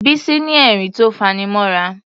Bísí ní ẹ̀rín tó faní mọ́ra.